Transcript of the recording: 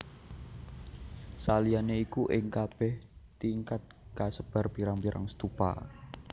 Saliyané iku ing kabèh tingkat kasebar pirang pirang stupa